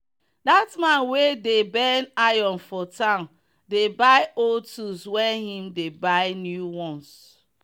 that man wey dey bend iron for town dey buy old tools when him dey buy new ones